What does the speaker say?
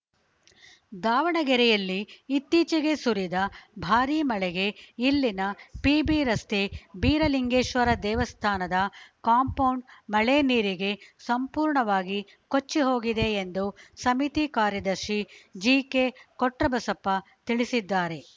ದಾವಣಗೆರೆಯಲ್ಲಿ ಇತ್ತೀಚೆಗೆ ಸುರಿದ ಭಾರಿ ಮಳೆಗೆ ಇಲ್ಲಿನ ಪಿಬಿ ರಸ್ತೆ ಬೀರಲಿಂಗೇಶ್ವರ ದೇವಸ್ಥಾನದ ಕಾಂಪೌಂಡ್‌ ಮಳೆ ನೀರಿಗೆ ಸಂಪೂರ್ಣವಾಗಿ ಕೊಚ್ಚಿ ಹೋಗಿದೆ ಎಂದು ಸಮಿತಿ ಕಾರ್ಯದರ್ಶಿ ಜಿಕೆಕೊಟ್ರಬಸಪ್ಪ ತಿಳಿಸಿದ್ದಾರೆ